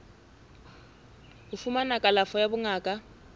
ho fumana kalafo ya bongaka